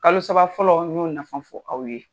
Kalo saba fɔlɔ y'o nafan fɔ aw ye.